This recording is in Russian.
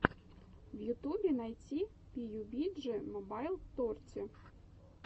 в ютубе найти пиюбиджи мобайл торти